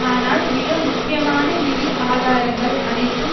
ஆனால் மிக முக்கியமான நிதி ஆதாரங்கள் அனைத்தும்